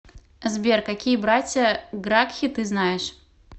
сбер какие братья гракхи ты знаешь